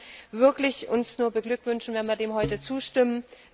Ich kann uns wirklich nur beglückwünschen, wenn wir dem heute zustimmen.